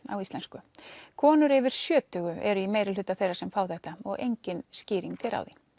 á íslensku konur yfir sjötugu eru í meirihluta þeirra sem fá þetta og engin skýring er á því